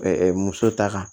muso ta kan